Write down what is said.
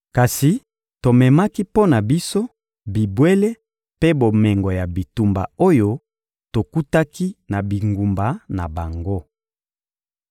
Kasi tomemaki mpo na biso: bibwele mpe bomengo ya bitumba oyo tokutaki na bingumba na bango.